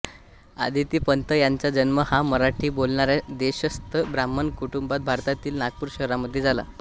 आदिती पंत यांचा जन्म हा मराठी बोलणाऱ्या देशस्थ ब्राह्मण कुटुंबात भारतातील नागपूर शहरामध्ये झाला